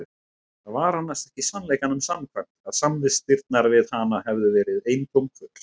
Það var annars ekki sannleikanum samkvæmt að samvistirnar við hana hefðu verið honum eintóm kvöl.